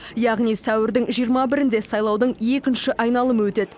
яғни сәуірдің жиырма бірінде сайлаудың екінші айналымы өтеді